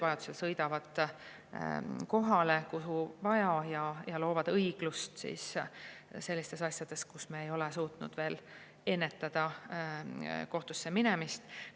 Vajadusel sõidavad nad kohale, kuhu vaja, ja loovad õiglust sellistes asjades, kus me ei ole suutnud veel kohtusse minemist ära hoida.